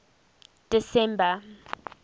december